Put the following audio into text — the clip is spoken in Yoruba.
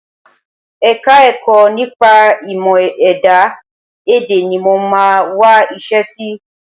Ẹka-ẹ̀kọ́ nípa ìmọ̀-ẹ̀dá èdè ni mo máa wá iṣẹ́ sí